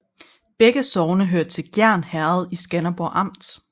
Begge sogne hørte til Gjern Herred i Skanderborg Amt